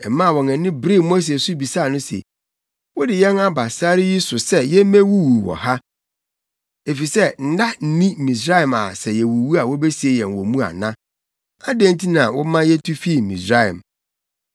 Ɛmaa wɔn ani beree Mose so bisaa no se, “Wode yɛn aba sare yi so sɛ yemmewuwu wɔ ha, efisɛ nna nni Misraim a sɛ yewuwu a wobesie yɛn wɔ mu ana? Adɛn nti na woma yetu fii Misraim?